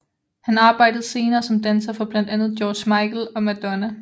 Han arbejdede senere som danser for blandt andet George Michael og Madonna